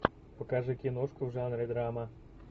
покажи киношку в жанре драма